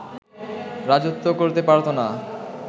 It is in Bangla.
রাজত্ব করতে পারতো না